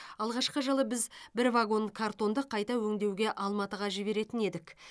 алғашқы жылы біз бір вагон картонды қайта өңдеуге алматыға жіберетін едік